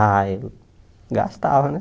Ah ele gastava né